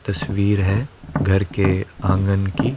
तस्वीर है घर के आंगन की--